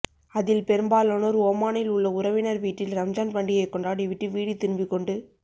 அதில் பெரும்பாலானோர் ஓமானில் உள்ள உறவினர் வீட்டில் ரம்ஜான் பண்டிகை கொண்டாடிவிட்டு வீடு திரும்பிக் கொண்டு